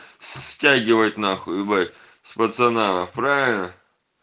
стягивать нахуй ебать с пацанами правильно